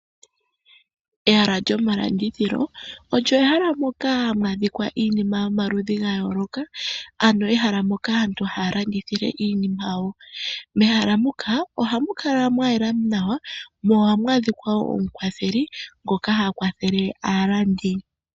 Ehala lyomalandithilo olyo ehala moka mwa dhikwa iinima yomaludhi ga yooloka, ano ehala moka aantu haya landithile iinima yawo. Mehala muka ohamu kala mwa yela nawa mo ohamu adhika wo omukwatheli ngoka ha kwathele aalandi.